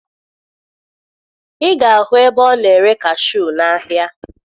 Ị ga-ahụ ebe ọ na-ere kashuu n'ahịa